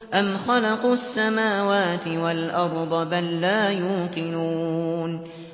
أَمْ خَلَقُوا السَّمَاوَاتِ وَالْأَرْضَ ۚ بَل لَّا يُوقِنُونَ